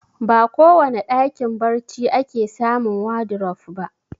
Ba kowane ɗakin barci ake samun wadurof ba